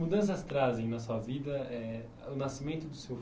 mudanças trazem na sua vida eh o nascimento do seu